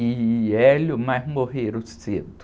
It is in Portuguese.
E, mas morreram cedo.